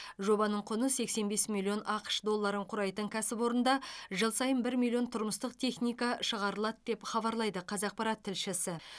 жобаның құны сексен бес миллион ақш долларын құрайтын кәсіпорында жыл сайын бір миллион тұрмыстық техника шығарылады деп хабарлайды қазақпарат тілшісі